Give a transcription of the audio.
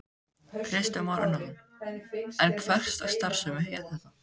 Kristján Már Unnarsson: En hverslags starfsemi er þetta?